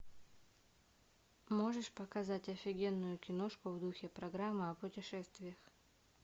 можешь показать офигенную киношку в духе программы о путешествиях